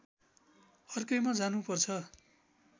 अर्कैमा जानु पर्छ